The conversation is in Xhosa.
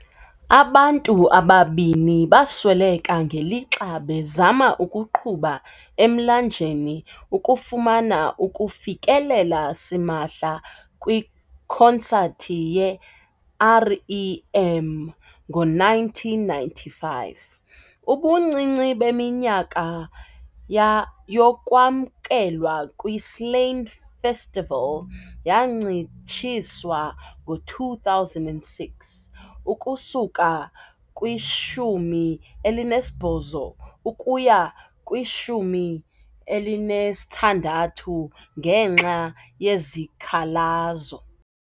Abantu ababini basweleka ngelixa bezama ukuqhuba emlanjeni ukufumana ukufikelela simahla kwikonsathi ye- REM ngo-1995. Ubuncinci beminyaka ya yokwamkelwa kwi-Slane Festival yancitshiswa ngo-2006 ukusuka kwi-18 ukuya kwi-16 ngenxa yezikhalazo.